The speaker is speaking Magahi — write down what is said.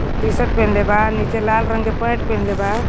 टी_शर्ट पहिन्ले बा नीचे लाल रंग के पैंट पहिन्ले बा।